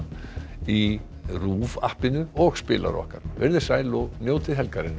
í RÚV og spilara okkar verið sæl og njótið helgarinnar